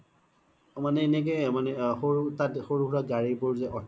অ মানে এনেকে মানে তাত সৰু সোৰা গাৰি বোৰ জে auto